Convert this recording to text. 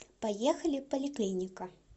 поехали поликлиника